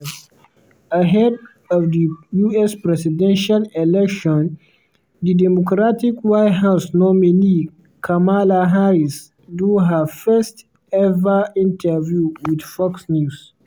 ahead of di us presidential election di democratic white house nominee kamala harris do her first-ever interview with fox news.